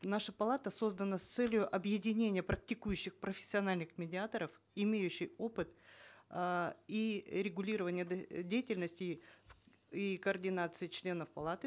наша палата создана с целью объединения практикующих профессиональных медиаторов имеющих опыт э и регулирование деятельности и координации членов палаты